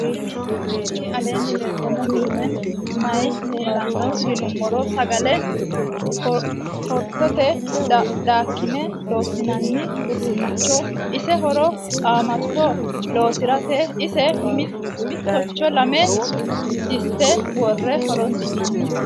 tini aleni leltano misileni maayi leelano yinnumoro. sagale korentete daka'ne loosi'nani uduunichoti. ise horo qamato losirate ise miticho lame disite woore horonsi'nani.